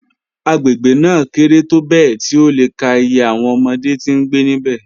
Agbegbe naa kere tobẹẹ ti o le ka iye awọn ọmọde ti ngbe nibẹ